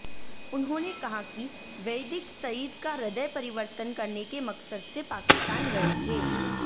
उन्होंने कहा कि वैदिक सईद का हृदय परिवर्तन करने के मकसद से पाकिस्तान गए थे